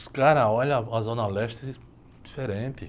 Os caras olham a Zona Leste diferente.